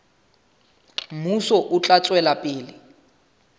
mmuso o tla tswela pele